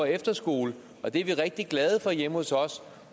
efterskole og det er vi rigtig glade for hjemme hos os